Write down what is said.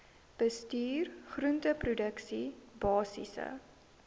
bestuur groenteproduksie basiese